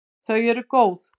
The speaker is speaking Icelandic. Þau eru góð.